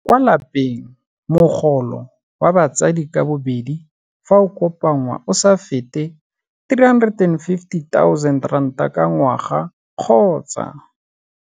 Kwa lapeng mogolo wa batsadi ka bobedi fa o kopanngwa o sa fete R350 000 ka ngwaga kgotsa.